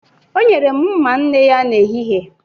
O nyere m mma nne ya n'ehihie.